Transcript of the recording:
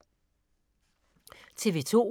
TV 2